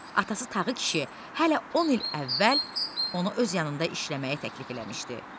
Atası Tağı kişi hələ 10 il əvvəl onu öz yanında işləməyə təklif eləmişdi.